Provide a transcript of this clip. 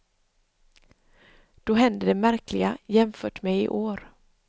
Då händer det märkliga, jämfört med i år.